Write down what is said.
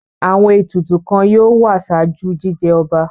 Àwọn ètùtù kan yóò wà ṣáájú jíjẹ ọba.